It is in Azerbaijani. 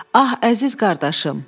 Ah, əziz qardaşım.